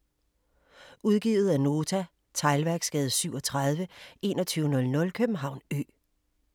Udgivet af Nota Teglværksgade 37 2100 København Ø